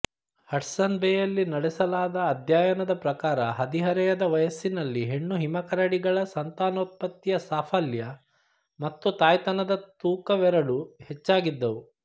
Hudson ಬೇಯಲ್ಲಿ ನಡೆಸಲಾದ ಅಧ್ಯಯನದ ಪ್ರಕಾರ ಹದಿಹರೆಯದ ವಯಸ್ಸಿನಲ್ಲಿ ಹೆಣ್ಣು ಹಿಮಕರಡಿಗಳ ಸಂತಾನೋತ್ಪತ್ತಿಯ ಸಾಫಲ್ಯ ಮತ್ತು ತಾಯ್ತನದ ತೂಕವೆರಡೂ ಹೆಚ್ಚಾಗಿದ್ದವು